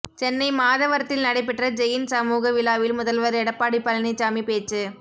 சென்னை மாதவரத்தில் நடைபெற்ற ஜெயின் சமூக விழாவில் முதல்வர் எடப்பாடி பழனிச்சாமி பேச்சு